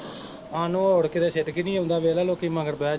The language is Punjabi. ਸਾਨੂੰ ਉੜ ਕੇ ਤੇ ਸਿਦਕ ਨੀ ਆਉਂਦਾ ਵੇਖਲਾ ਲੋਕੀ ਮਗਰ ਬਹਿ ਜਾਂਦੇ